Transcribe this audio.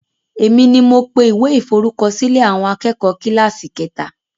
Èmi ni mo pe ìwé iforukosilẹ̀ àwọn akẹ́kọ̀ kíláàsì kẹta